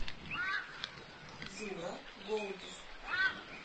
юра голубев